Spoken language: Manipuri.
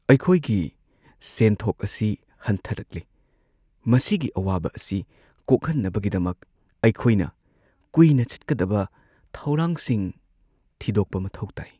ꯑꯩꯈꯣꯏꯒꯤ ꯁꯦꯟꯊꯣꯛ ꯑꯁꯤ ꯍꯟꯊꯔꯛꯂꯦ ! ꯃꯁꯤꯒꯤ ꯑꯋꯥꯕ ꯑꯁꯤ ꯀꯣꯛꯍꯟꯅꯕꯒꯤꯗꯃꯛ ꯑꯩꯈꯣꯏꯅ ꯀꯨꯏꯅ ꯆꯠꯀꯗꯕ ꯊꯧꯔꯥꯡꯁꯤꯡ ꯊꯤꯗꯣꯛꯄ ꯃꯊꯧ ꯇꯥꯏ ꯫